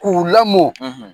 K'u lamɔ,